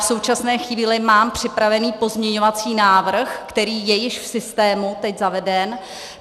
V současné chvíli mám připravený pozměňovací návrh, který je již v systému teď zaveden.